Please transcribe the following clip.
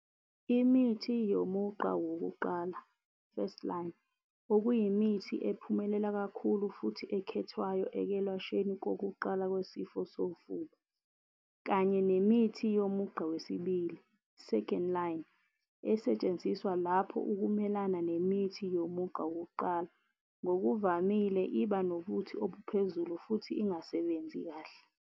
Imithi yomugqa wokuqala first line, okuyimithi ephumelela kakhulu futhi ekhethwayo ekwelashweni kokuqala kwesifo sofuba. Kanye nemithi yomugqa wesibili second line esetshenziswa lapho ukumelana nemithi yomugqa wokuqala ngokuvamile iba nobuti obuphezulu futhi ingasebenzi kahle.